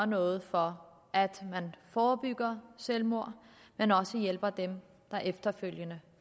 noget for at forebygge selvmord men også hjælpe dem der efterfølgende